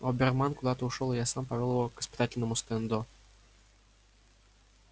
оберман куда-то ушёл и я сам повёл его к испытательному стенду